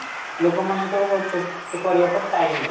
ଲୋକମାନଙ୍କର help କରିବାକୁ time ନାହିଁ